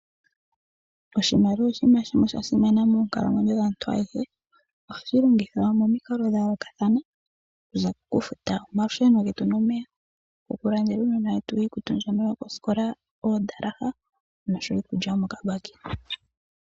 Oshimaliwa oshinima shimwe sha simana monkalamwenyo dhaantu ayehe, oha shi longithwa momikalo dhayoolokathana okuza kokufuta omalusheno getu nomeya, okulandela uunona wetu iikutu mbyono yokosikola oodalaha nosho wo iikulya yomokabaki.